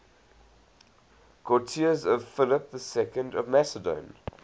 courtiers of philip ii of macedon